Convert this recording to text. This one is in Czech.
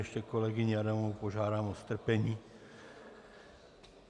Ještě kolegyni Adamovou požádám o strpení.